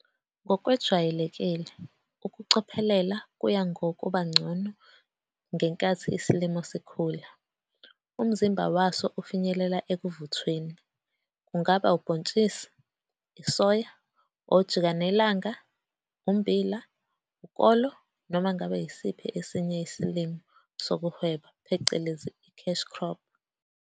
Ngokwejwayelekile ukucophelela kuya ngokuba ngcono ngenkathi isilimo sikhula umzimba waso ufinyelela ekuvuthweni, kungaba ubhontshisi isoya, ojikanelanga, ummbila, ukolo noma ngabe isiphi esinye isilimo sokuwheba phecelezi i-cash crop.